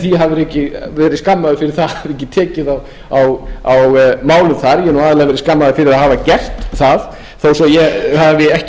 því að vera skammaður fyrir að hafa ekki tekið á málum þar ég hef aðallega verið skammaður fyrir að hafa gert það þó að ég